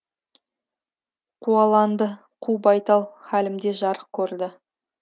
қуаланды қу байтал халімде жарық көрді